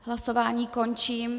Hlasování končím.